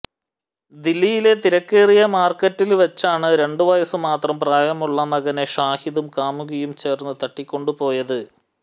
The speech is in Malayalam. ദില്ലിയിലെ തിരക്കേറിയ മാര്ക്കറ്റില് വച്ചാണ് രണ്ടു വയസ്സ് മാത്രം പ്രായമുള്ള മകനെ ഷാഹിദും കാമുകിയും ചേര്ന്നു തട്ടിക്കൊണ്ടുപോയത്